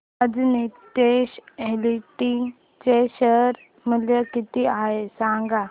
आज नीतेश एस्टेट्स चे शेअर मूल्य किती आहे सांगा